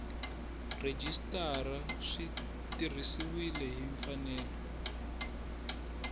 rhejisitara swi tirhisiwile hi mfanelo